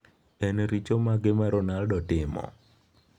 En richo mage ma Ronaldo timo?